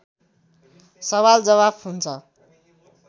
सवाल जवाफ हुन्छ